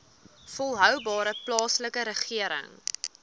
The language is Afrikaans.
volhoubare plaaslike regering